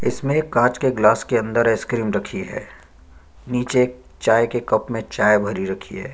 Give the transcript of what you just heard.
इसमें एक कांच के ग्लास के अंदर आइस क्रीम रखी है निचे चाय के कप में चाय रखी है ।